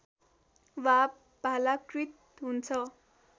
वा भालाकृत हुन्छ